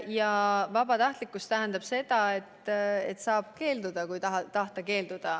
Ja vabatahtlikkus tähendab seda, et saab keelduda, kui tahta keelduda.